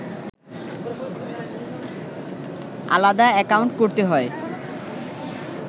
আলাদা অ্যাকাউন্ট করতে হয়